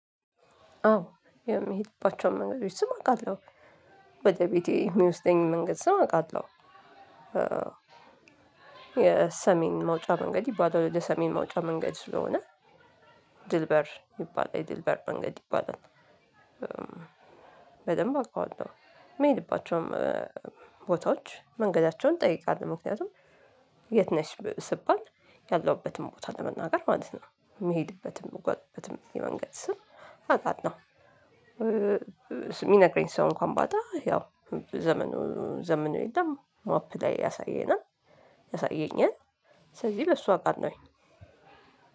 አዎ የሚሄድባቸውን መንገዶች ስም አቃለሁ ወደቤቴ የሚወስደኝ መንገድ ስም አቃለሁ። የሰሜን መውጫ መንገድ ይባላል የሰሜን መውጫ መንገድ ስለሆነ ድልበር ይባላል የድልበር መንገድ ይባላል። በደንብ አውቀዋለሁ። ምሄድባቸውም ቦታዎች መንገዳቸውን ጠይቃለው ምክንያቱም የት ነሽ ስባል ያለሁበትን ቦታ ለመናገር ማለት ነው። ምሄድበትም ምጓዝበትም የመንገድ ስም አውቃለው። ሚነግረኝ ሰው እንኳን ባጣ ያው ዘመኑ ዘመኑን የለም ማፕ ላይ ያሳየናል ያሳየኛል። ስለዚህ በሱ አቃለሁኝ